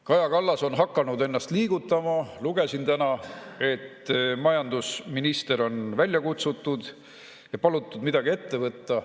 Kaja Kallas on hakanud ennast liigutama: lugesin täna, et majandusminister on välja kutsutud ja on palutud midagi ette võtta.